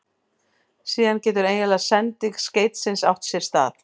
Síðan getur eiginleg sending skeytisins átt sér stað.